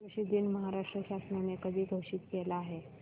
कृषि दिन महाराष्ट्र शासनाने कधी घोषित केला आहे